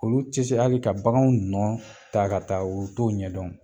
Olu ti se hali ka bagan nɔ taga ga taa u t'o ɲɛdɔn